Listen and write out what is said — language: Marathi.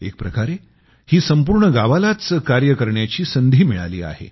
एक प्रकारे ही संपूर्ण गावालाच कार्य करण्याची संधी मिळाली आहे